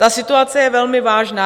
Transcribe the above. Ta situace je velmi vážná.